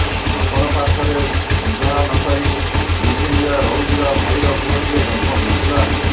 ଅପରପାର୍ଶ୍ବରେ ବିବାହ ନକରି ଲିଭଇନରେ ରହୁଥିବା ଭାଇର ପୁଅଟିଏ ଜନ୍ମ ହୋଇଥିଲା